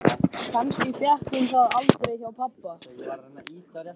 Kannski fékk hún það aldrei hjá pabba.